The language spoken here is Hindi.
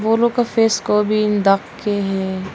वो लोग को फेस को भी ढक के है।